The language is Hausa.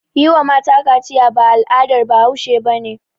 Yi wa mata kaciya ba al'adar bahause bane